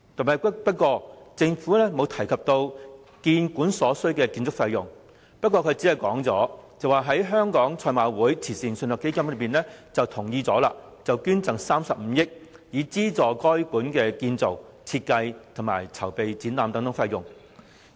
可是，政府卻未有提及建館所需的建築費用，僅表示香港賽馬會慈善信託基金已同意捐贈35億元，以資助故宮館的建造、設計及籌備展覽等費用。